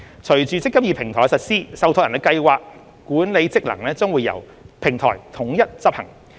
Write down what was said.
隨着"積金易"平台的實施，受託人的計劃管理職能將會由平台統一執行。